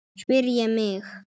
spyr ég mig.